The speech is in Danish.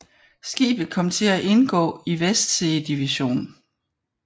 Skibet kom til at indgå i Westsee Division